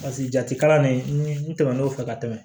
Paseke jati kalan nin tɛmɛnen kɔfɛ ka tɛmɛ